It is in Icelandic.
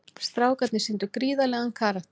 Strákarnir sýndu gríðarlegan karakter